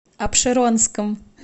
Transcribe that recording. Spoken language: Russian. апшеронском